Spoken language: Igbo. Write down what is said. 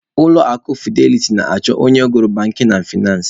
Ulọ akụ fideliti na-achọ onye gụrụ bankin na faịnansị.